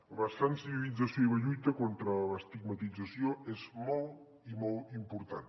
la sensibilització i la lluita contra l’estigmatització és molt i molt important